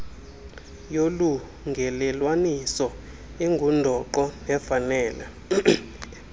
yolungelelwaniso ingundoqo nefanele